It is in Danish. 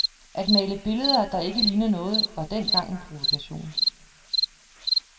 At male billeder, der ikke ligner noget, var dengang en provokation.